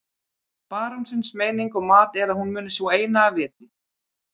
Barónsins meining og mat er að hún muni sú eina af viti.